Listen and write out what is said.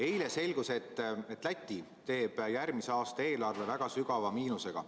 Eile selgus, et Läti teeb järgmise aasta eelarve väga sügava miinusega.